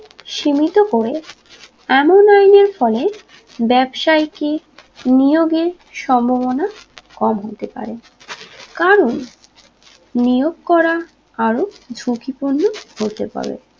সীমিত করে এমন আইনের ফলে ব্যবসায়ীকে নিয়োগে সম্ভবনা কম হতে পারে কারণ নিয়োগ করা আরো ঝুঁকি পূর্ণ হতে পারে